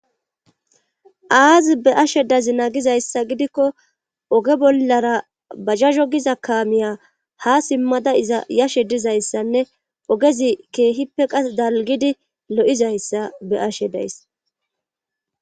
Aazi be ashe dazi naagizayssa gidikko oge bollara bajazo giza kaamiya ha simmada iza yashe dizayssanne ogezi keehippe qas dalgidi lo7izayssa beashe days.